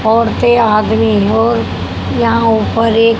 औरतें आदमी और यहां ऊपर एक--